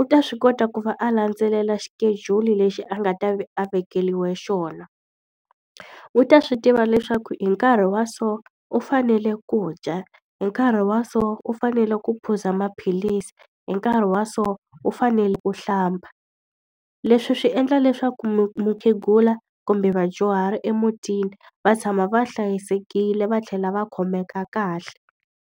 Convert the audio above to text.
U ta swi kota ku va a landzelela xikejuli lexi a nga ta va a vekeriwe xona. U ta swi tiva leswaku hi nkarhi wa so, u fanele ku dya, hi nkarhi wa so, u fanele ku phuza maphilisi, hi nkarhi wa so u fanele ku u hlamba. Leswi swi endla leswaku mukhegula kumbe vadyuhari emutini va tshama va hlayisekile va tlhela va khomeka kahle.